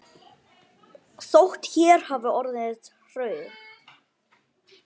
Hún hefur oft reddað mér.